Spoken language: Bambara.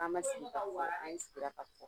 A ma sigi ka fɔ an sigira ka fɔ